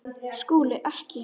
SKÚLI: Ekki?